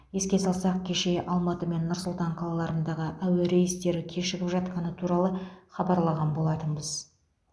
еске салсақ кеше алматы мен нұр сұлтан қалаларындағы әуе рейстері кешігіп жатқаны туралы хабарлаған болатынбыз